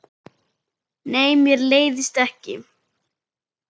Nei, mér leiðist ekki.